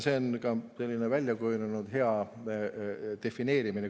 See on ka selline väljakujunenud hea defineerimine.